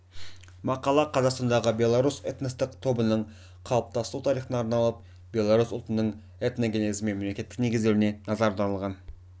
мақала қазақстандағы белорус этностық тобының қалыптасу тарихына арналып белорус ұлтының этногенезі мен мемлекеттігінің негізделуіне назар аударылған